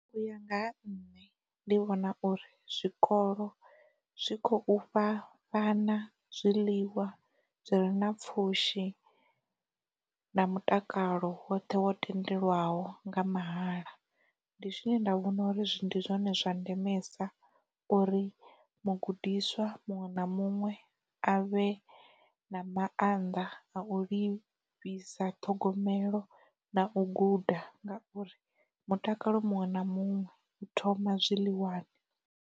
U ya nga ha nṋe ndi vhona uri, zwikolo zwi khou fha vhana zwiḽiwa zwi re na pfhushi na mutakalo woṱhe wo tendelwaho nga mahala. Ndi zwine nda vhona uri ndi zwone zwa ndemesa uri mugudiswa muṅwe na muṅwe a vhe na maanḓa a u livhisa ṱhogomelo na u guda ngauri mutakalo muṅwe na muṅwe u thoma zwiḽiwani.